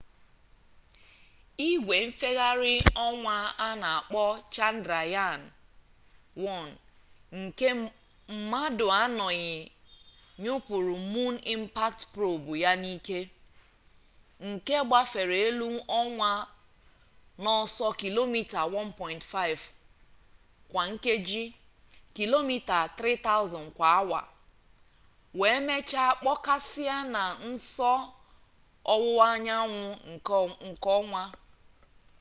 igwe nfegharị ọnwa a na-akpọ chandrayaan-1 nke mmadụ anọghị nyụpụrụ moon impact probe mip ya n'ike nke gbafere elu ọnwa n'ọsọ kilomita 1.5 kwa nkeji kilomita 3000 kwa awa wee mechaa kpọkasịa na nso ọwụwa anyanwụ nke ọnwa